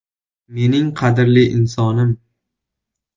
“Mening qadrli insonim!